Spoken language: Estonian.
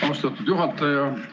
Austatud juhataja!